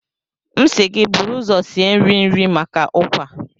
M si gi buru uzo sie nri nri maka Ukwa.